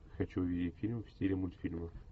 хочу увидеть фильм в стиле мультфильма